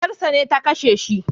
Matarsa ce ta kashe shi